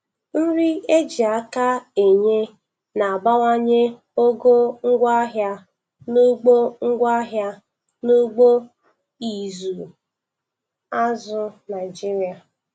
Nri eji aka enye na-abawanye ogo ngwaahịa n'ugbo ngwaahịa n'ugbo ịzụ azụ Naịjiria